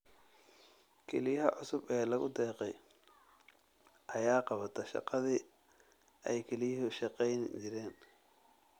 Kelyaha cusub ee lagu deeqay ayaa qabata shaqadii ay kelyuhu shaqayn jireen.